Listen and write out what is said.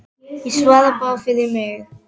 Ég svara bara fyrir mig.